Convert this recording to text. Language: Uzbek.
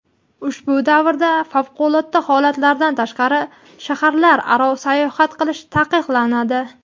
Ushbu davrda favqulodda holatlardan tashqari shaharlararo sayohat qilish taqiqlanadi.